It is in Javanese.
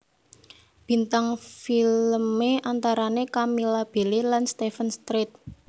Bintang filmé antarané Camilla Belle lan Steven Strait